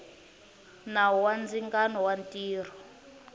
nawu wa ndzingano wa mintirho